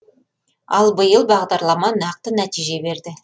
ал биыл бағдарлама нақты нәтиже берді